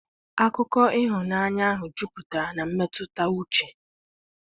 akụkọ ịhụnanya ahụ jupụtara na mmetụta uche.